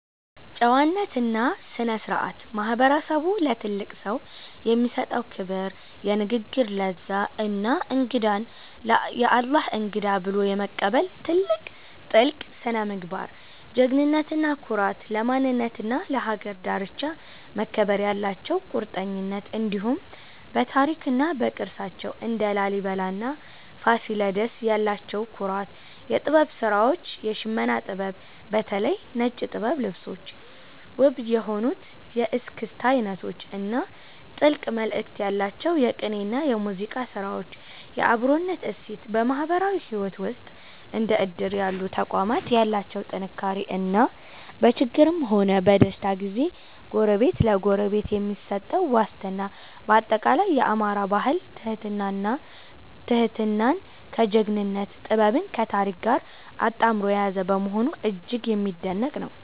ጨዋነትና ስነ-ስርዓት፦ ማህበረሰቡ ለትልቅ ሰው የሚሰጠው ክብር፣ የንግግር ለዛ እና እንግዳን "የአላህ እንግዳ" ብሎ የመቀበል ጥልቅ ስነ-ምግባር። ጀግንነትና ኩራት፦ ለማንነትና ለሀገር ዳርቻ መከበር ያላቸው ቁርጠኝነት፣ እንዲሁም በታሪክና በቅርሳቸው (እንደ ላሊበላና ፋሲለደስ) ያላቸው ኩራት። የጥበብ ስራዎች፦ የሽመና ጥበብ (በተለይ ነጭ ጥበብ ልብሶች)፣ ውብ የሆኑት የእስክስታ አይነቶች እና ጥልቅ መልእክት ያላቸው የቅኔና የሙዚቃ ስራዎች። የአብሮነት እሴት፦ በማህበራዊ ህይወት ውስጥ እንደ እድር ያሉ ተቋማት ያላቸው ጥንካሬ እና በችግርም ሆነ በደስታ ጊዜ ጎረቤት ለጎረቤት የሚሰጠው ዋስትና። ባጠቃላይ፣ የአማራ ባህል ትህትናን ከጀግንነት፣ ጥበብን ከታሪክ ጋር አጣምሮ የያዘ በመሆኑ እጅግ የሚደነቅ ነው።